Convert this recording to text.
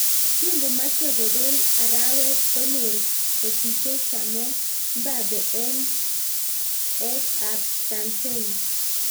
Kingomechei kopeel arawet konyor kotichee chameet mbappe eng et ap Tansania